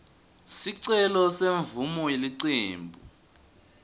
sicelo semvumo yelicembu